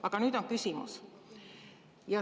Aga nüüd on järgmine küsimus.